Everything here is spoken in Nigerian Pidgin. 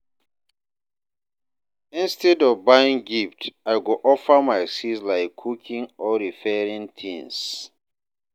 Instead of buying gift, I go offer my skills like cooking or repairing things.